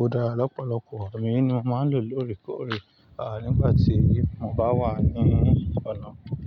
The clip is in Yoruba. ó dára lọ́pọ̀lọpọ̀, èmi naa mo máa ń lò lóòrèkóòrè nígbà tí mo bá wà ní ọ̀nà.